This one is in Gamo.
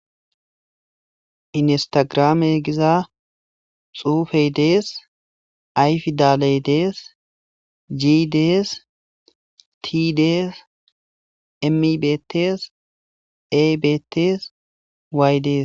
Instagram giza xufey des I pidaley des g des t des m bestes m betese y des